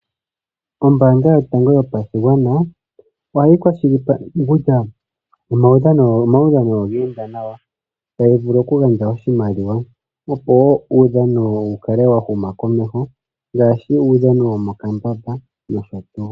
Ombaanga yotango yopashigwana ohayi kwashilipaleke kutya omaudhano ogeenda nawa. Otayi vulu oku gandja oshimaliwa opo uudhano wukale wahuma komeho ngaashi uudhano womokambaba nosho tuu.